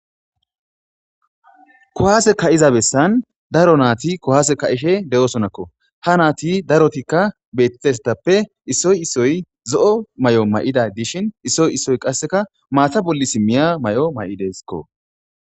kohaase ka7iza bessan daro naati kohaase ka eshe de7oosonakko ha naati darotikka beettesetappe issoy issoy zo7o may7o may7ida dishhin issoy issoy qasseka maata bolli simmiya may7o may7idesakko